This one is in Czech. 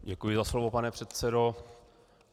Děkuji za slovo, pane předsedo.